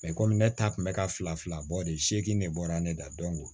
komi ne ta kun bɛ ka fila fila bɔ de se ne bɔra ne da